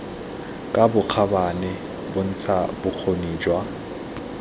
ka bokgabane bontsha bokgoni jwa